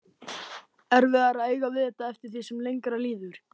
Erfiðara að eiga við þetta eftir því sem lengra líður.